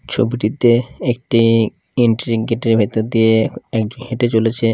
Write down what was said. ছবিটিতে একটি এন্ট্রেনকিটের ভেতর দিয়ে হেঁটে চলেছে ।